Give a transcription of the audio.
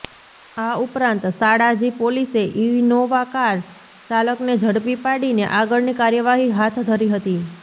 આ ઉપરાંત શાળાજી પોલીસે ઇનોવા કાર ચાલકને ઝડપી પાડીને આગળની કાર્યવાહી હાથધરી હતી